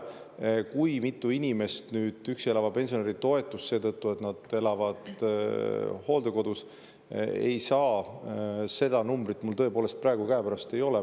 Seda numbrit, kui mitu inimest nüüd üksi elava pensionäri toetust ei saa seetõttu, et nad elavad hooldekodus, mul tõepoolest praegu käepärast ei ole.